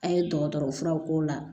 An ye dɔgɔtɔrɔ furaw k'o la